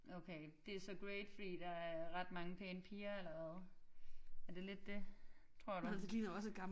Okay det er så great fordi der er ret mange pæne piger eller hvad? Er det lidt det tror du?